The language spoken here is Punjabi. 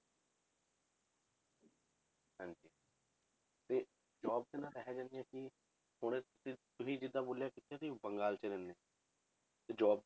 ਤੇ job 'ਚ ਨਾ ਇਹ ਜਿਹਾ ਨੀ ਹੈ ਕਿ ਹੁਣ ਤ~ ਤੁਸੀਂ ਜਿੱਦਾਂ ਬੋਲਿਆ ਕਿ ਤੁਸੀਂ ਬੰਗਾਲ 'ਚ ਰਹਿੰਦੇ ਹੋ, ਤੇ job ਦੀ